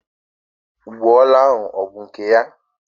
Ụgbọala ahụ abụ nke ya?